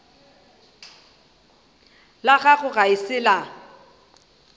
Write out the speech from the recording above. la gago ga se la